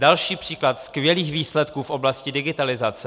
Další příklad skvělých výsledků v oblasti digitalizace.